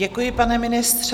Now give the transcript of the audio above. Děkuji, pane ministře.